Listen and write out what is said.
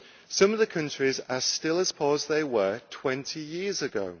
Some of the countries are still as poor as they were 20 years